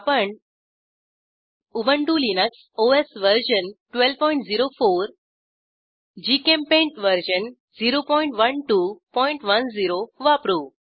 आपण Ubuntu Linux OS version 1204 GChemPaint version 01210 वापरू